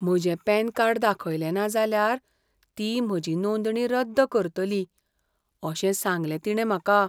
म्हजें PAN card दाखयलें ना जाल्यार ती म्हजी नोंदणी रद्द करतली अशें सांगलें तिणें म्हाका.